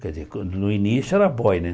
Quer dizer, quan no início era boy, né?